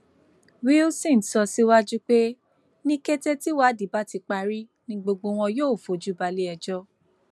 wilson sọ síwájú pé ní kété tíwádìí bá ti parí ni gbogbo wọn yóò fojú balẹẹjọ